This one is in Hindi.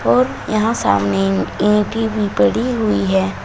और यहां सामने ईंटे पड़ी हुई है।